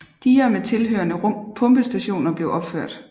Diger med tilhørende pumpestationer blev opført